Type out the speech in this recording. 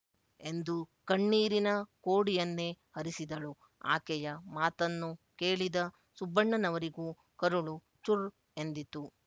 ಎಂದು ಕಣ್ಣೀರಿನ ಕೋಡಿಯನ್ನೇ ಹರಿಸಿದಳು ಆಕೆಯ ಮಾತನ್ನು ಕೇಳಿದ ಸುಬ್ಬಣ್ಣನವರಿಗೂ ಕರುಳು ಚುರ್ ಎಂದಿತು